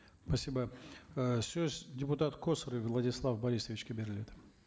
спасибо ы сөз депутат косарев владислав борисовичке беріледі